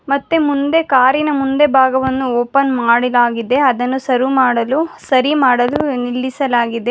ಮತ್ತೆ ಮುಂದೆ ಕಾರ್ ಇನ ಮುಂದೆ ಭಾಗವನ್ನು ಓಪನ್ ಮಾಡಿದಾಗಿದೆ ಅದನ್ನು ಸರು ಮಾಡಲು ಸರಿ ಮಾಡಲು ನಿಲ್ಲಿಸಲಾಗಿದೆ.